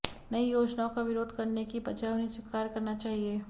नई योजनाओं का विरोध करने की बजाय उन्हें स्वीकार करना चाहिए